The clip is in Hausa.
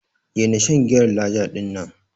Daina shan giyar Laja din nan.